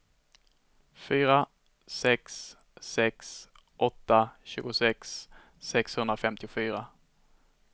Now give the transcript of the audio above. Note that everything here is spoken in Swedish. fyra sex sex åtta tjugosex sexhundrafemtiofyra